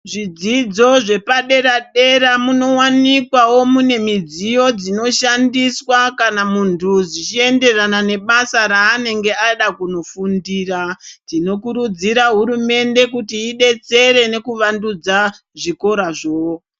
Zvidzidzo zvepadera-dera munowanikwawo mune midziyo dzinoshandiswa kana muntu zvichienderana nebasa raanenge ada kunofundira. Tinokurudzira hurumende kuti idetsere nekuvandudza zvikorazvo.